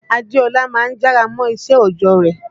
Adéọlá má ń jára mọ́ṣẹ́ òjọ́ rẹ̀